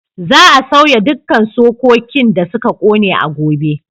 Za a sauya dukkan sokekin da suka ƙone a gobe.